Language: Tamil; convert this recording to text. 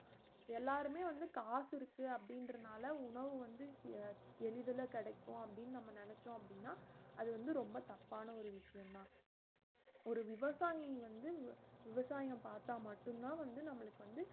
எல்லாருமே வந்து காசு இருக்கு அப்புடின்றனால உணவு வந்து எளிதல கிடைக்கும் அப்புடின்னு நம்ம நெனைச்சொம் அப்படினா அது வந்து ரொம்ப தப்பானா ஒரு விசயம் தான் ஒரு விவசாயி வந்து வி~ விவசாயம் பார்த்தா மட்டும் தான் வந்து நம்மளுக்கு வந்து